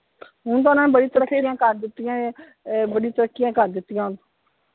ਹੁਣ ਤਾਂ ਓਹਨਾ ਨੇ ਬੜੀ ਕਰ ਦਿੱਤੀਆਂ ਨੇ ਅਹ ਬੜੀ ਤਰੱਕੀਆਂ ਕਰ ਦਿੱਤੀਆ।